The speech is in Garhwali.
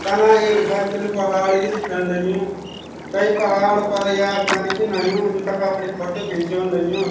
तना एक बर्फिलू पहाड़ भी दिखेंण लग्युं ते पहाड़ पर याक मनखी नयुं जू तख अपड़ी फोटू खिच्ण लग्युं।